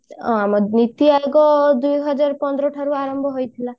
ଅ ନୀତି ଆୟୋଗ ଦୁଇ ହଜାର ପନ୍ଦର ଠାରୁ ଆରମ୍ଭ ହେଇଥିଲା